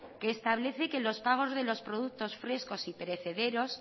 que establece que los pagos de los productos frescos y perecederos